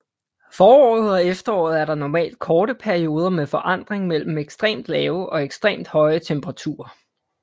Foråret og efteråret er der normalt korte perioder med forandring mellem ekstremt lave og ekstremt høje temperaturer